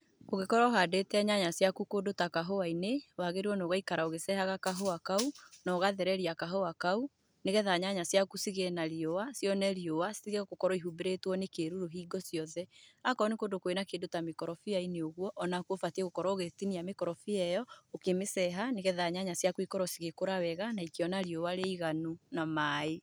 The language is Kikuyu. Kũngĩkorwo ũhandĩte nyanya ciaku kũndũ ta kahũa-inĩ, wagĩrĩirwo nĩ ũgaikara ũgĩcehaga kahũa kau, na ũgathereria kahũa kau, nĩgetha nyanya ciaku cigĩe na riũa, cione riũa, citige gũkorwo ihumbĩrĩtwo nĩ kĩruru hingo ciothe, akorwo nĩ kũndũ kwĩna kĩndũ ta mĩkorobia-inĩ ũguo, onakuo ũbatiĩ gũkorwo ũgĩtinia mĩkorobia ĩyo, ũkĩmĩceha, nĩgetha nyanya ciaku ikorwo cĩgíkũra wega na ikĩona riũa rĩiganu, na maĩ.